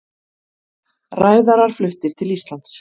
Ræðarar fluttir til Íslands